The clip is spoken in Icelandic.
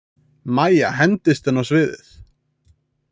Mæja hendist inn á sviðið.